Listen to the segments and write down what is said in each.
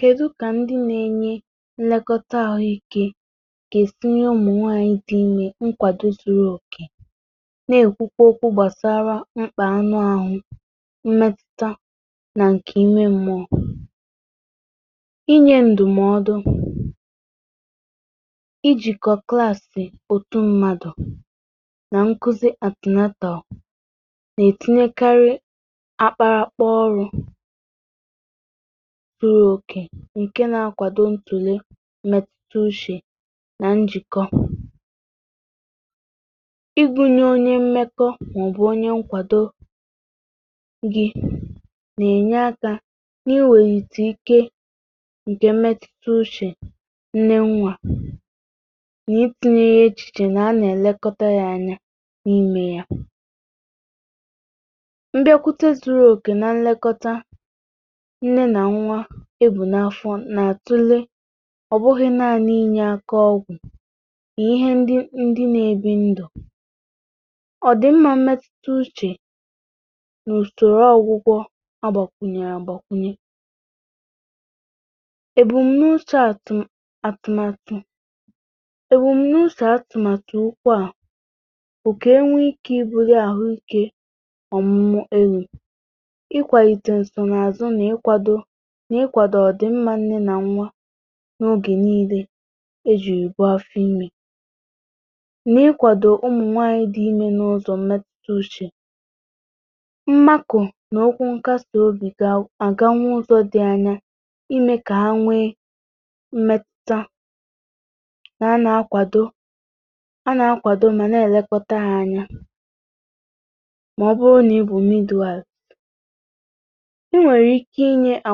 kèdu, um kà ndi na-enye nlekọta ahụ ikė kà esinye ụmụnwaanyị dị inyė nkwàdo zuru òkè, na-ekwukwo okwu gbàsara mkpà anụ ahụ mmẹtụta nà nke inwe mmụọ; inye ndụmọdụ, ijikọ klaasị̀ otu mmadụ̀ nà nkuzi atina taò. na-etinyekarị akpara kpọọrọ ǹkè nà-akwàdo ntùle m̀mẹtùtù uchè nà njìkọ, ịgụ̇nyė onye m̀mekọ màọ̀bụ̀ onye nkwàdo gi nà-ènye akȧ, eh nà-iwèyìtù ike ǹkè m̀mẹtùtù uchè nne nwȧ. nà-ịtụnye echìchè, nà a nà-èlekọta yȧ anya n’imė yȧ, m̀gbè akwụta zuru òkè nà nlekọta. ọ̀ bụghị̇ naanị̇ inyė aka ọgwụ̀, mà ihe ndị ndị nà-ebì ndọ̀ ọ̀dị̀mmȧ metuta uchè nà ùsòro ọ̇gwụ̇kwọ̇. agbàkwụnyè àgbàkwụnyè èbù m nà-ushe atụ, um atụmatụ ukwu à okè, enwe ikė ịbụ̇ri àhụike ọ̀mụmụ. erù ikwàyìtè ǹsọnààzụ, nà ịkwado nà-ịkwàdò n’ogè niile ejì ìgbo afị imi. nà-ikwàdò ụmụ̀nwanyị dị ime n’ụzọ̀ mmeta uchè, mmakụ̀ n’okwu nkasà obì. ga àga nwa ụzọ̇ dị anya ime kà ha nwee mmeta, nà a nà-akwadò, a nà-akwadò, mà na-èlekọtà ha anya. màọbụ̀rụ̀, eh o nà ibù midualit nwere ike inye ha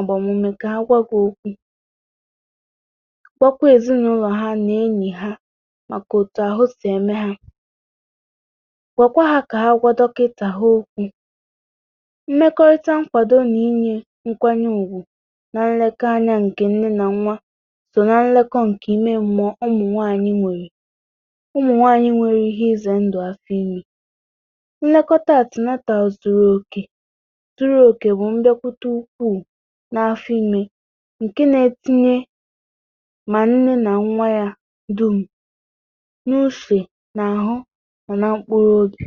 agbamume ka akwago okwu gbakwaezinụlọ ha nà enyi ha, maka otu ahụ si eme ha. gwakwa ha ka ha agwa dọkịtaghị okwu mmekọrịta nkwado, nà inye nkwanye ùgwù, nà nlekọ anya nke nne nà nwa. so na nlekọ nke ime mmọọ, um ụmụ nwaanyị nwere ihe ize ndụ asịa ime. nlekọta a tomato zuru oke n’afịmị ǹkè, na-etinye mà nne nà nwà ya dum n’ufė nà-àhụ, mà na mkpụrụ odò.